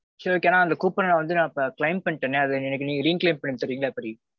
சரிக்கா நான் அந்த coupon -அ வந்து நான் claim பண்ணிட்டேனே அத எனக்கு நீங்க reclaim பன்னி தர்றீங்களா எப்பிடி?